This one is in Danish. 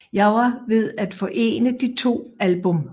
Jeg var ved at forene de to album